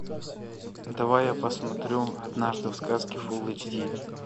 давай я посмотрю однажды в сказке фулл эйч ди